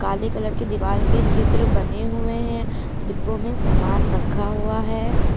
काले कलर के दीवाल पे चित्र बने हुए हैं डिब्बो में सामान रखा हुआ है।